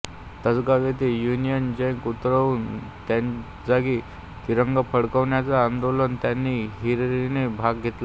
तासगांव येथे Union Jack उतरवून त्याजागी तिरंगा फडकवण्याच्या आंदोलनात त्यांनी हिरिरीने भाग घेतला